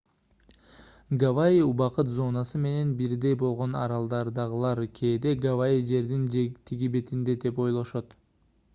гавайи убакыт зонасы менен бирдей болгон аралдардагылар кээде гавайи жердин тиги бетинде деп ойлошот